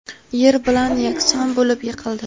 yer bilan yakson bo‘lib yiqildi.